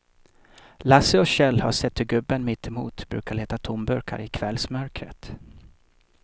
Lasse och Kjell har sett hur gubben mittemot brukar leta tomburkar i kvällsmörkret.